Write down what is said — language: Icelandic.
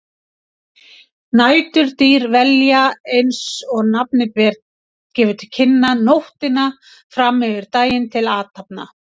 Næturdýr velja, eins og nafnið gefur til kynna, nóttina fram yfir daginn til athafna.